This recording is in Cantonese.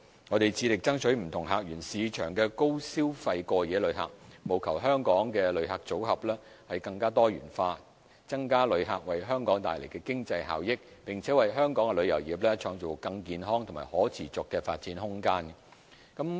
我們致力爭取不同客源市場的高消費過夜旅客，務求香港的旅客組合更多元化，增加旅客為香港帶來的經濟效益，並為香港旅遊業創造更健康和可持續的發展空間。